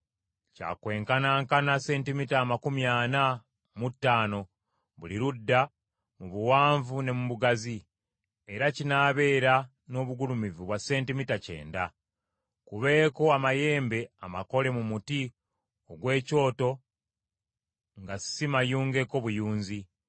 Kya kwenkanankana, sentimita amakumi ana mu ttaano buli ludda mu buwanvu ne mu bugazi; era kinaabeera n’obugulumivu bwa sentimita kyenda. Kubeeko amayembe amakole mu muti ogw’ekyoto nga si mayungeko buyunzi.